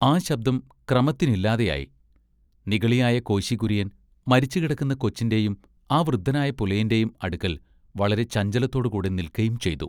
ആ ശബ്ദം ക്രമത്തിനില്ലാതെയായി നിഗളിയായ കോശി കുര്യൻ മരിച്ചുകിടക്കുന്ന കൊച്ചിന്റെയും ആ വൃദ്ധനായ പുലയന്റെയും അടുക്കൽ വളരെ ചഞ്ചലത്തോടു കൂടെ നിൽക്കയും ചെയ്തു.